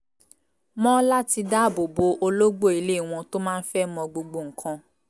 mọ́ láti dáàbò bo ológbò ilé wọn tó máa ń fẹ́ mọ gbogbo nǹkan